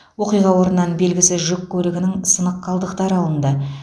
оқиға орнынан белгісіз жүк көлігінің сынық қалдықтары алынды